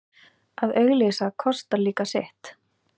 Að auglýsa kostar líka sitt.